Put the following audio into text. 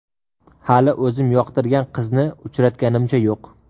Hali o‘zim yoqtirgan qizni uchratganimcha yo‘q.